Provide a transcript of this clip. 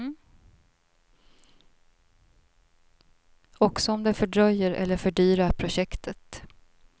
Också om det fördröjer eller fördyrar projektet.